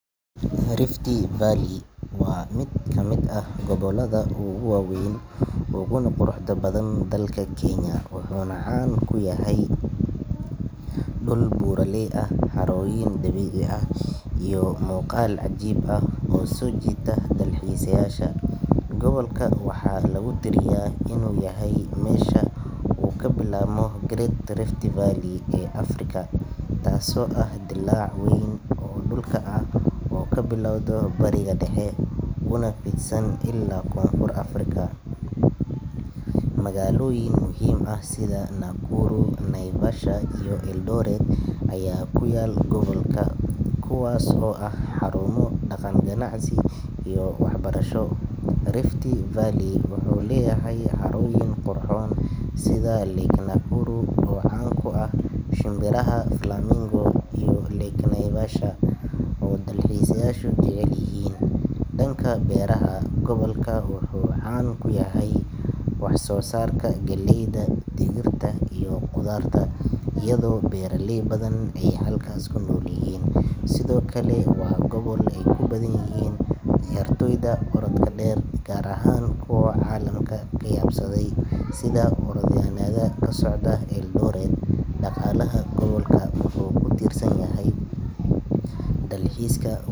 Rift Valley waa mid ka mid ah gobollada ugu waaweyn uguna quruxda badan dalka Kenya, wuxuuna caan ku yahay dhul buuraley ah, harooyin dabiici ah, iyo muuqaal cajiib ah oo soo jiita dalxiisayaasha. Gobolka waxaa lagu tiriyaa inuu yahay meesha uu ka bilaabmo Great Rift Valley ee Afrika, taasoo ah dillaac weyn oo dhulka ah oo ka bilowda Bariga Dhexe una fidsan ilaa Koonfur Afrika. Magaalooyin muhiim ah sida Nakuru, Naivasha iyo Eldoret ayaa ku yaal gobolka, kuwaas oo ah xarumo dhaqan, ganacsi iyo waxbarasho. Rift Valley wuxuu leeyahay harooyin qurxoon sida Lake Nakuru, oo caan ku ah shimbiraha flamingo, iyo Lake Naivasha oo dalxiisayaashu jecel yihiin. Dhanka beeraha, gobolka wuxuu caan ku yahay wax soo saarka galleyda, digirta, iyo khudaarta iyadoo beeraley badan ay halkaas ku nool yihiin. Sidoo kale waa gobol ay ku badan yihiin ciyaartoyda orodka dheer, gaar ahaan kuwa caalamka ka yaabsaday sida orodyahannada ka socda Eldoret. Dhaqaalaha gobolka wuxuu ku tiirsan yahay dalxiiska.